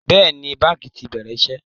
Bẹ́ẹ̀ni, báńkì ti bẹ̀rẹ̀ iṣẹ́